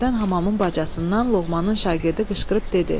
Birdən hamamın bacasından Loğmanın şagirdi qışqırıb dedi: